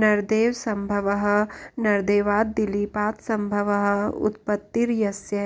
नरदेवसम्भवः नरदेवाद्दिलीपात्संभवः उत्पत्तिर्यस्य